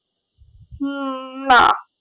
হম না